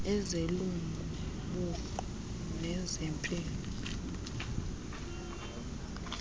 ezelungu buqu nezempilo